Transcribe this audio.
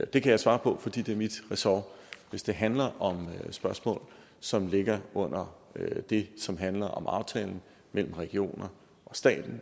det kan jeg svare på fordi det er mit ressort hvis det handler om spørgsmål som hører under det som handler om aftalen mellem regionerne og staten